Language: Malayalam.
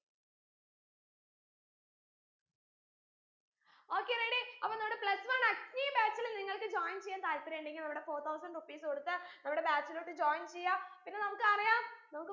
okay ready അപ്പോ നമ്മടെ plus one അഗ്നി batch ൽ നിങ്ങൾക് join ചെയ്യാൻ തലപ്പര്യണ്ടെങ്കിൽ നമ്മടെ four thousand rupees കൊടുത്ത് നമ്മുടെ batch ലോട്ട് join ചെയ്യാ പിന്നെ നമ്മുക്കറിയാം നമ്മുക്ക്